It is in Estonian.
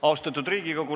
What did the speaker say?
Austatud Riigikogu!